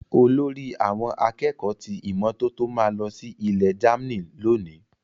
Olórí àwọn akẹ́kọ̀ọ́ ti ìmọ́tótó ma lọ sí ilẹ Germany loni.